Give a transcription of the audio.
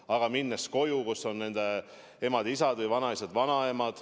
Aga nad ju lähevad koju, kus on nende emad-isad ja ehk ka vanaisad-vanaemad.